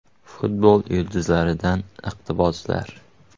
Futbol yulduzlaridan iqtiboslar.